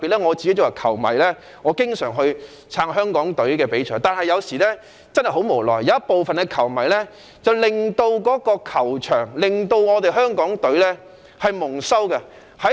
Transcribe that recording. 我是球迷，十分支持香港隊參賽，但有時真的很無奈，有部分球迷在球場上令香港隊蒙羞。